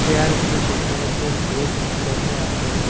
চেয়ারগুলিতে কয়েকজন লোক বসে আছেন।